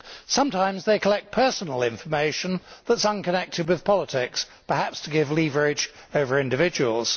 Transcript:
Sometimes they collect personal information unconnected with politics perhaps to create leverage over individuals.